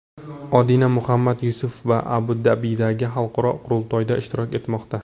Odina Muhammad Yusuf Abu-Dabidagi xalqaro qurultoyda ishtirok etmoqda.